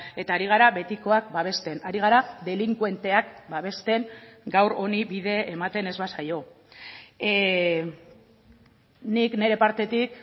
eta ari gara betikoak babesten ari gara delinkuenteak babesten gaur honi bide ematen ez ba zaio nik nire partetik